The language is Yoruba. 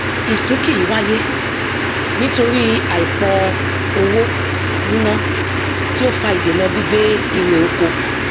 ìsúnkì yìí wáyé nítorí àìpọ owó níná tí ó fa ìdènà gbígbé irè oko